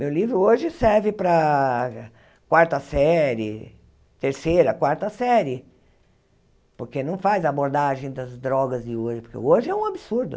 Meu livro hoje serve para quarta série, terceira, quarta série, porque não faz abordagem das drogas de hoje, porque hoje é um absurdo.